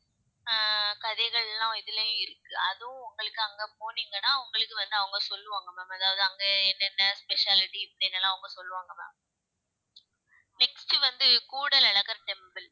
அஹ் கதைகள் எல்லாம் இதுலயும் இருக்கு அதுவும் உங்களுக்கு அங்க போனீங்கன்னா உங்களுக்கு வந்து அவங்க சொல்லுவாங்க ma'am அதாவது அங்க என்னென்ன specialty இப்படின்னு எல்லாம் அவங்க சொல்லுவாங்க ma'am next வந்து கூடல் அழகர் temple